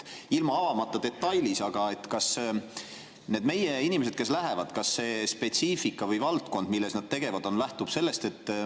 Ilma detailides avamata, kas need meie inimesed, kes sinna lähevad, spetsiifikast või valdkonnast, milles nad tegevad on?